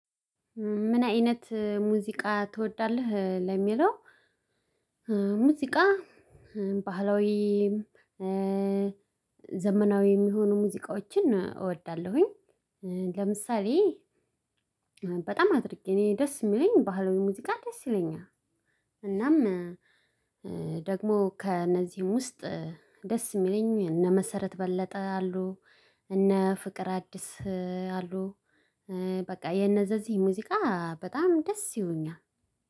ምን አይነት ሙዚቃ ትወዳለህ ለሚለው? ሙዚቃ ባህላዊም ዘመናዊም የሚሆኑ ሙዚቃዎችን እወዳለሁኝ። ለምሳሌ በጣም አድርጌ እኔ ደስ የሚለኝ ባህላዊ ሙዚቃ ደስ ይለኛል። እናም ደግሞ ከእነዚህም ውስጥ ደስ የሚለኝ እነ መሰረት በለጠ አሉ። እነ ፍቅር አዲስ አሉ። በቃ የነዘዚህ ሙዚቃ በጣም ደስ ይሁኛል።